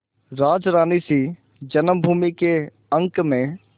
राजरानीसी जन्मभूमि के अंक में